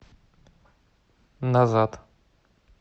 назад